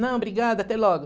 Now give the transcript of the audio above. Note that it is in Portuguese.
Não, obrigada, até logo.